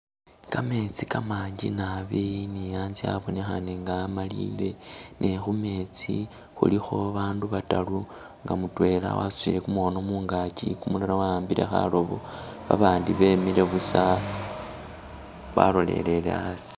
Kametsi kamanji naabi ni a'nze abonekhane nga amalile ne khumetsi khulikho bandu bataru nga mutwela wasutile kumukhono mungaki kumulala wa'ambile khaloobo babandi bemile busa balolelele a'asi